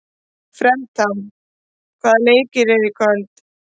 Fertram, hvaða leikir eru í kvöld?